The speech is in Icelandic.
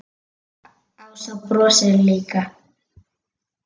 Ása brosir líka.